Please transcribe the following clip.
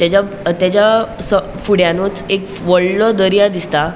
तेजा तेजा स फूडयानुच एक वडलों दर्या दिसता.